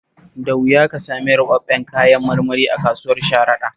Da wuya ka samu ruɓaɓɓun kayan marmari a kasuwar Sharaɗa